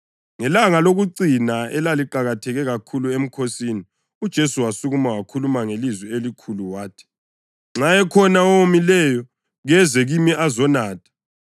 Ngelanga lokucina elaliqakatheke kakhulu emkhosini, uJesu wasukuma wakhuluma ngelizwi elikhulu wathi, “Nxa ekhona owomileyo keze kimi azonatha.